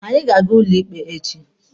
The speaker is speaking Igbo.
Anyị ga-aga ụlọ ikpe echi.